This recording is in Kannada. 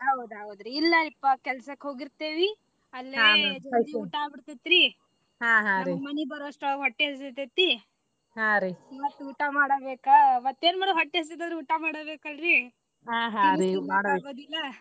ಹೌದ ಹೌದ್ರಿ ಇಲ್ಲಾರಿಪಾ ಕೆಲ್ಸಕ್ಕ ಹೋಗಿರ್ತೇವಿ ಅಲ್ಲೆ ಜಲ್ದಿ ಊಟಾ ಆಗಿ ಆಗಿಬಿಡ್ತೇತ್ರಿ ಮನಿಗ ಬರೋವಷ್ಟ್ರಲ್ಲಿ ಹೊಟ್ಟಿ ಹಸಿತೇತಿ ಮತ್ತ ಊಟಾ ಮಾಡಬೇಕಾ ಮತ್ತೇನ ಮಾಡೋದ ಹೊಟ್ಟಿ ಹಸಿತಂದ್ರ ಊಟಾ ಮಾಡಬೇಕಲ್ರೀ .